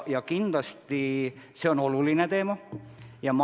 Kindlasti see on oluline teema.